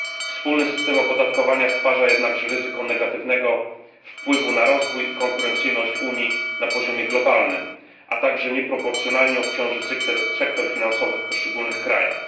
Wspólny system opodatkowania stwarza jednakże ryzyko negatywnego wpływu na rozwój i konkurencyjność Unii na poziomie globalnym, a także nieproporcjonalnie obciąży sektor finansowy w poszczególnych krajach.